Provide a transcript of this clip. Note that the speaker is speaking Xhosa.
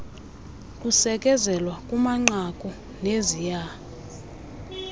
kusekezelwa kumanqaku neziya